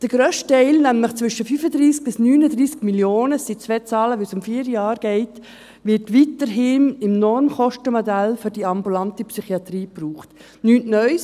Der grösste Teil, nämlich zwischen 35–39 Mio. Franken – dies sind zwei Zahlen, wo es um vier Jahre geht –, wird weiterhin im Normkostenmodell für die ambulante Psychiatrie gebraucht, nichts Neues.